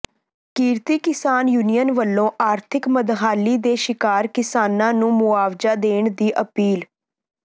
ਕਿਰਤੀ ਕਿਸਾਨ ਯੂਨੀਅਨ ਵੱਲੋਂ ਆਰਥਿਕ ਮੰਦਹਾਲੀ ਦੇ ਸ਼ਿਕਾਰ ਕਿਸਾਨਾਂ ਨੂੰ ਮੁਆਵਜ਼ਾ ਦੇਣ ਦੀ ਅਪੀਲ